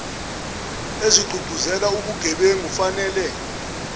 ezigqugquzela ubugebengu fanele